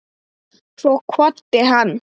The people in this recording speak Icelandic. Svo kvaddi hann.